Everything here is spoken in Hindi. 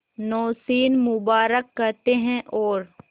नौशीन मुबारक कहते हैं और